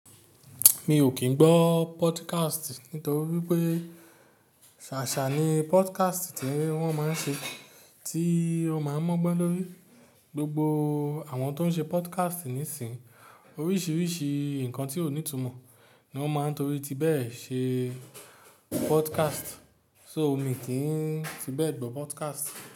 Mi ò kín gbọ́ podcast nítorí wípé sàṣà ni podcast tí wón máa ń ṣe, tí a máa ń mu ogbọ́n lórí. Gbogbo àwọn tó ń ṣe podcast níìsín, oríṣiríṣi nǹkan tí ó ní ìtumọ̀ ni wón máa ń torí ti bẹ́ẹ̀ ṣe podcast. So mì kín ti bẹ́ẹ̀ gbọ́ podcast.